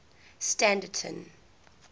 standerton